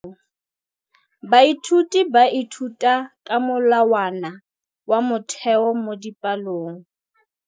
Baithuti ba ithuta ka molawana wa motheo mo dipalong.